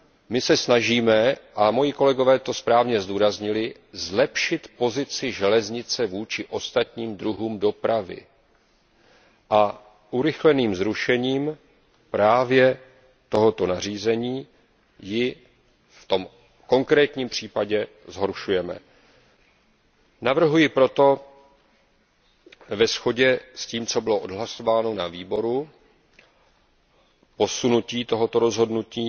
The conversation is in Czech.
My se snažíme a moji kolegové to správně zdůraznili zlepšit pozici železnice vůči ostatním druhům dopravy a urychleným zrušením právě tohoto nařízení ji v tom konkrétním případě zhoršujeme. Navrhuji proto ve shodě s tím, co bylo odhlasováno na Výboru pro dopravu a cestovní ruch, posunout toto rozhodnutí